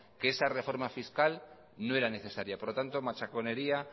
que esa reforma fiscal no era necesaria por lo tanto machaconería